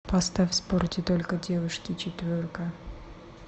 поставь в спорте только девушки четверка